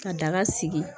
Ka daga sigi